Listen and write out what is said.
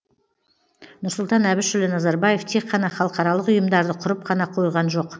нұрсұлтан әбішұлы назарбаев тек қана халықаралық ұйымдарды құрып қана қойған жоқ